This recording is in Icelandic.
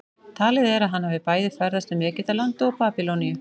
Talið er að hann hafi bæði ferðast um Egyptaland og Babýloníu.